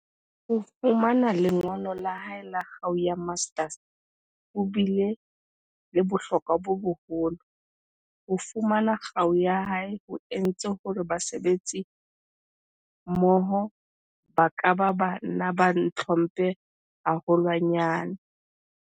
Ho fumana lengolo la hae la kgau ya Master's ho bile le bohlokwa bo boholo. "Ho fu mana kgau ya ka ho entse hore basebetsimmoho ba ka ba ba nna ba ntlhomphe haholwa nyane."